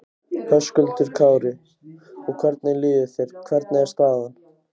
Höskuldur Kári: Og hvernig líður þér, hvernig er staðan?